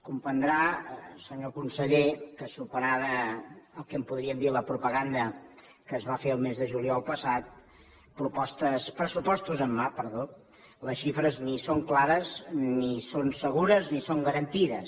comprendrà senyor conseller que superada el que en podríem dir la propaganda que es va fer el mes de juliol passat pressupostos en mà les xifres ni són clares ni són segures ni són garantides